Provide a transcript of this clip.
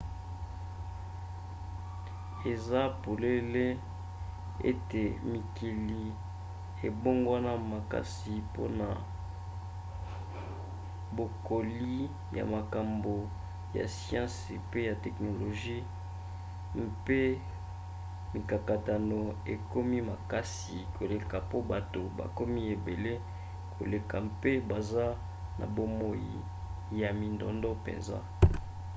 eza polele ete mokili ebongwana makasi mpona bokoli ya makambo ya siansi pe ya teknolozi mpe mikakatano ekomi makasi koleka po bato bakomi ebele koleka mpe baza na bomoi ya mindondo mpenza